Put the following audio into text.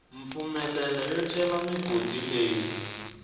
mpfumelelo yo cela migodi leyi